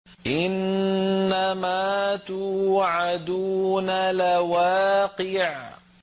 إِنَّمَا تُوعَدُونَ لَوَاقِعٌ